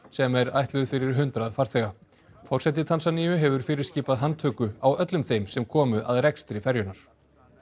sem er ætluð fyrir hundrað farþega forseti Tansaníu hefur fyrirskipað handtöku á öllum þeim sem komu að rekstri ferjunnar